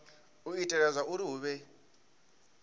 u itela zwauri hu vhe